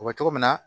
O bɛ cogo min na